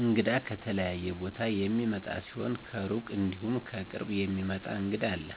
እንግዳ ከተለያየ ቦታ የሚመጣ ሲሆን ከሩቅ እንዲሁም ከቅርብ የሚመጣ እንግዳ አለ።